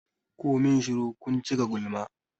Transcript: Ku min shuru! kun cika gulma.